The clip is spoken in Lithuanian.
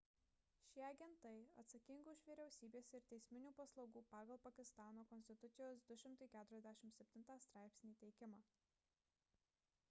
šie agentai atsakingi už vyriausybės ir teisminių paslaugų pagal pakistano konstitucijos 247 straipsnį teikimą